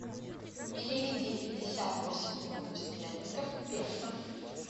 переведи пятьдесят восемь фунтов стерлингов в песо